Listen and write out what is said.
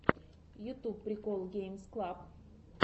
ютуб прикол геймс клаб